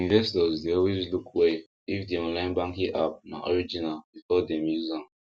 investors dey always look well if the online banking app na original before dem use am